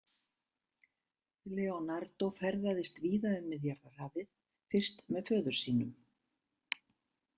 Leonardó ferðaðist víða um Miðjarðarhafið, fyrst með föður sínum.